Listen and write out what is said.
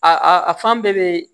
A a fan bɛɛ bɛ